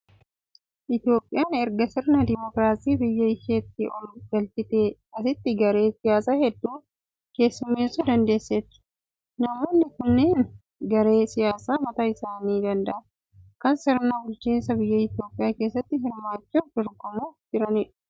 Itoophiyaan erga sirna dimookiraasii biyya isheetti ol galchiteen asitti garee siyaasa hedduu keessummeessuu dandeesseetti. Namoonni kunneen garee siyaasaa mataa isaanii danda'an, kan sirna bulchiinsa biyya Itoophiyaa keessatti hirmaachuuf dorgomuuf jedhanidha.